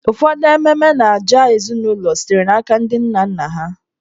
Ụfọdụ ememe na ajà ezinụlọ sitere n'aka ndị nna nna ha.